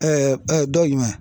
don jumɛn ?